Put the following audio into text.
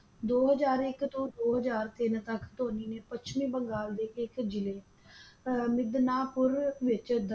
ਦੋ ਹਜ਼ਾਰ ਇਕ ਤੋਂ ਦੋ ਹਜ਼ਾਰ ਤਿੰਨ ਤੱਕ ਧੋਨੀ ਨੇ ਪੱਛਮੀ ਬੰਗਾਲ ਦੇ ਇੱਕ ਜਿਲੇ ਅਹ ਮਿਦਨਾਪੁਰ ਵਿਚ ਦੱਖਣ